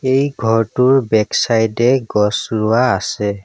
এই ঘৰটোৰ back side এ গছ ৰুৱা আছে।